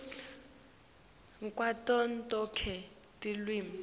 kwato tonkhe tilwimi